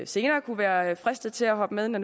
senere kunne være fristet til at hoppe med når